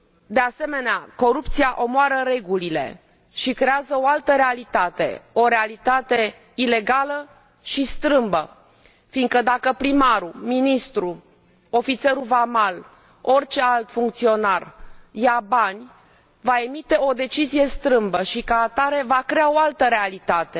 De asemenea, corupția omoară regulile și creează o altă realitate, o realitate ilegală și strâmbă, fiindcă dacă primarul, ministrul, ofițerul vamal, orice alt funcționar ia bani, va emite o decizie strâmbă și, ca atare, va crea o altă realitate.